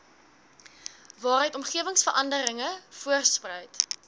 waaruit omgewingsverandering voortspruit